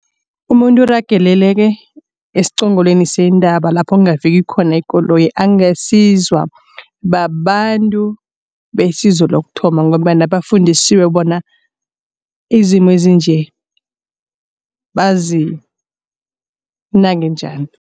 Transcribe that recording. Umuntu urageleleke esiqongolweni sentaba lapho kungafiki khona ikoloyi. Angasizwa babantu besizo lokuthoma ngombana bafundisiwe bona izimo ezinje bazinake njani.